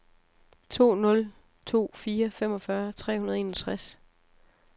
to nul to fire femogfyrre tre hundrede og enogtres